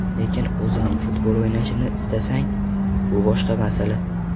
Lekin o‘zing futbol o‘ynashni istasang, bu boshqa masala.